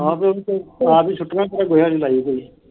ਛੁਟੀਆਂ ਚ ਕਿੱਥੇ ਲਾਈ ਹੋਈ।